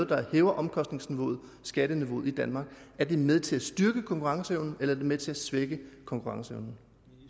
der hæver omkostningsnivauet og skatteniveauet i danmark er det med til at styrke konkurrenceevnen eller er det med til at svække konkurrenceevnen